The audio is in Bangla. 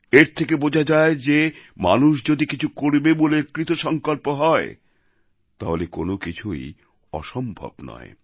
এর থেকে বোঝা যায় যে মানুষ যদি কিছু করবে বলে কৃতসংকল্প হয় তাহলে কোনও কিছুই অসম্ভব নয়